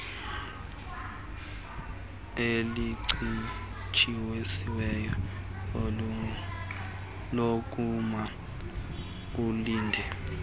elincitshisiweyo lokuma ulinde